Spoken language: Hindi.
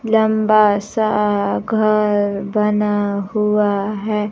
लंबा सा घर बना हुआ है।